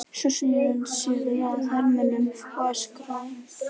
Svo sneri hann sér að hermönnunum og öskraði